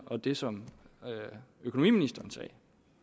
og det som økonomiministeren sagde